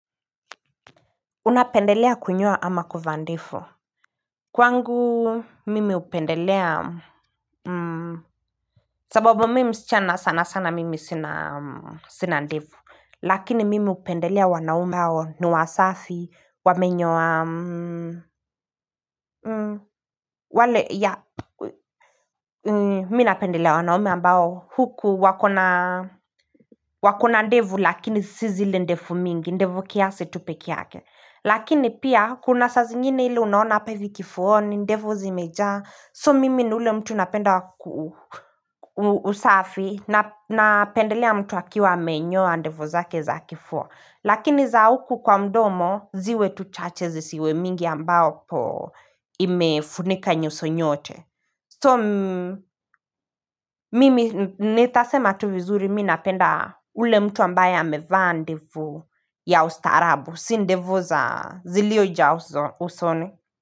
Unapendelea kunyoa ama kuvaa ndefu Kwangu mimi hupendelea sababu mimi msichana sana sana mimi sina ndevu lakini mimi hupendelea wanaume hao ni wasafi wamenyoa wale ya mimi napendelea wanaume ambao huku wakona wako na ndevu lakini si zile ndevu mingi ndevu kiasi tu pekee yake Lakini pia kuna saa ziingine ile unaona hapa hivi kifuani ndevu zimejaa So mimi ni ule mtu napenda usafi Napendelea mtu akiwa amenyoa ndevu zake za kifua Lakini za huku kwa mdomo ziwe tu chache zisiwe mingi ambapo imefunika nyuso nyote So mimi nitasema tu vizuri mi napenda ule mtu ambaye ameva ndevu ya ustaarabu. Si ndevu za zilioja usoni.